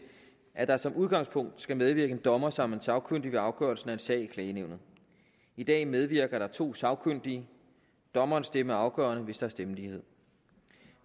at der som udgangspunkt skal medvirke en dommer som den sagkyndige ved afgørelsen af en sag i klagenævnet i dag medvirker der to sagkyndige dommerens stemme er afgørende hvis der er stemmelighed